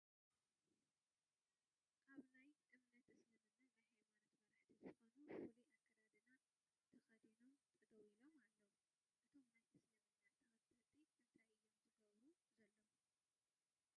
ኣብ ናይ አምነት እስልምና ናይ ሃይማኖት መራሕቲ ዝኾኑ ፍሉይ ኣከዳድና ተኸዲኖም ጠጠው ኢሎም ኣለው፡፡ እቶም ናይ እስልምና ተኸተልቲ እንታይ እዮም ዝገብሩ ዘለው